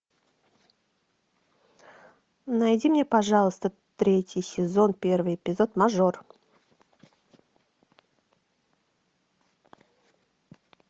найди мне пожалуйста третий сезон первый эпизод мажор